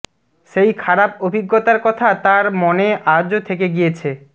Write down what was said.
সেই খারাপ অভিজ্ঞতার কথা তার মনে আজও থেকে গিয়েছে